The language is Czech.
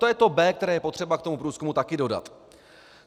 To je to B, které je potřeba k tomu průzkumu taky dodat.